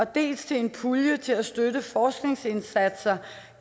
dels til en pulje til at støtte forskningsindsatser